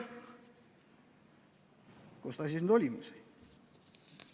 Kus ta siis nüüd oli?